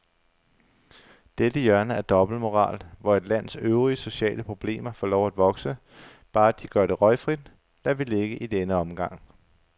Dette hjørne af dobbeltmoral, hvor et lands øvrige sociale problemer får lov at vokse, bare de gør det røgfrit, lader vi ligge i denne omgang.